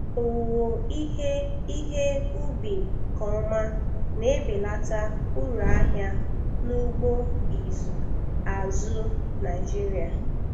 Owuwe ihe ihe ubi nke ọma na-ebelata uru ahịa n'ugbo ịzụ azụ̀ Naịjiria.